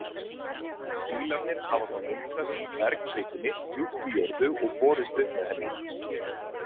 Dílarnir hafa þá myndast í bergkvikunni djúpt í jörðu og borist upp með henni.